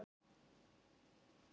Það geri hún ekki núna.